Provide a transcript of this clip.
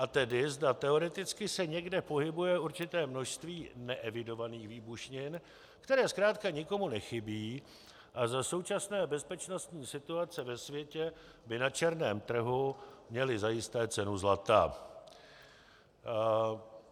A tedy zda teoreticky se někde pohybuje určité množství neevidovaných výbušnin, které zkrátka nikomu nechybí a za současné bezpečnostní situace ve světě by na černém trhu měly zajisté cenu zlata.